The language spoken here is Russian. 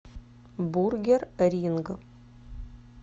бургер ринг